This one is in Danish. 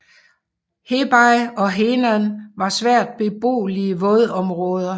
Hebei og Henan var svært beboelige vådområder